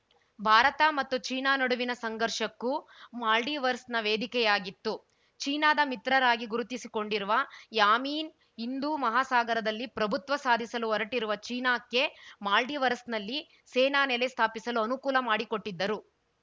ಭಾರತ ಮತ್ತು ಚೀನಾ ನಡುವಿನ ಸಂಘರ್ಷಕ್ಕೂ ಮಾಲ್ಡೀವರ್ಸ್ ವೇದಿಕೆಯಾಗಿತ್ತು ಚೀನಾದ ಮಿತ್ರರಾಗಿ ಗುರುತಿಸಿಕೊಂಡಿರುವ ಯಾಮೀನ್‌ ಹಿಂದು ಮಹಾಸಾಗರದಲ್ಲಿ ಪ್ರಭುತ್ವ ಸಾಧಿಸಲು ಹೊರಟಿರುವ ಚೀನಾಕ್ಕೆ ಮಾಲ್ಡೀವರ್ಸ್ ನಲ್ಲಿ ಸೇನಾ ನೆಲೆ ಸ್ಥಾಪಿಸಲು ಅನುಕೂಲ ಮಾಡಿಕೊಟ್ಟಿದ್ದರು